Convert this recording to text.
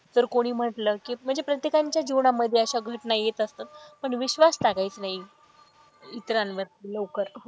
तर कोणी म्हंटल कि म्हणजे प्रत्येकाच्या जीवनामध्ये अशा घटना येत असतात पण विश्वास टाकायचं नाही. इतरांवरती लवकर.